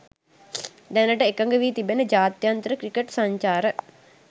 දැනට එකඟ වී තිබෙන ජාත්‍යන්තර ක්‍රිකට් සංචාර